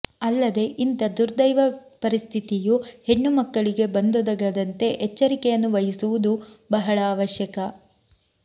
ಅಲ್ಲದೆ ಇಂಥ ದುರ್ದೈವ ಪರಿಸ್ಥಿತಿಯು ಹೆಣ್ಣುಮಕ್ಕಳಿಗೆ ಬಂದೊದಗದಂತೆ ಎಚ್ಚರಿಕೆಯನ್ನು ವಹಿಸುವುದೂ ಬಹಳ ಆವಶ್ಯಕ